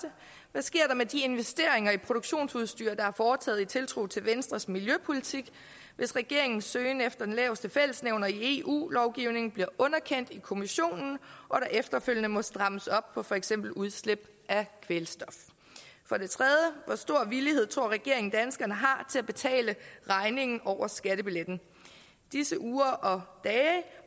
hvad sker der med de investeringer i produktionsudstyr der er foretaget i tiltro til venstres miljøpolitik hvis regeringens søgen efter den laveste fællesnævner i eu lovgivningen bliver underkendt i kommissionen og der efterfølgende må strammes op på for eksempel udslip af kvælstof for det tredje hvor stor villighed tror regeringen danskerne har til at betale regningen over skattebilletten i disse uger og dage